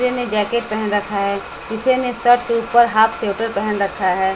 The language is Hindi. किसी ने जैकेट पहन रखा है किसी ने शर्ट के ऊपर हाफ स्वेटर पहन रखा है।